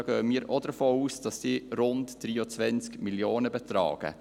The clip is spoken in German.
Da gehen wir auch davon aus, dass sie rund 23 Mio. Franken betragen.